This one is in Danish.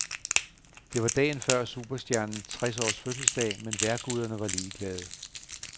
Det var dagen før superstjernens tres års fødselsdag, men vejrguderne var ligeglade.